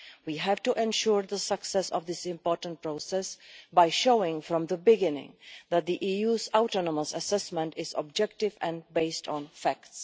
We have to ensure the success of this important process by showing from the beginning that the EU's autonomous assessment is objective and based on facts.